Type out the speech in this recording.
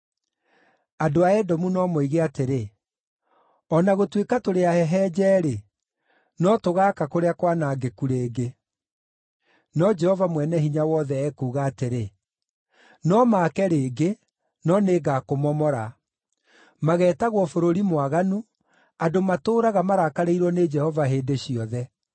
Andũ a Edomu no moige atĩrĩ, “O na gũtuĩka tũrĩ ahehenje-rĩ, no tũgaaka kũrĩa kwanangĩku rĩngĩ.” No Jehova Mwene-Hinya-Wothe ekuuga atĩrĩ, “No maake rĩngĩ, no nĩngakũmomora. Mageetagwo Bũrũri Mwaganu, andũ matũũraga marakarĩirwo nĩ Jehova hĩndĩ ciothe.